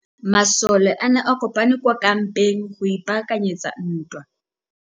Masole a ne a kopane kwa kampeng go ipaakanyetsa ntwa.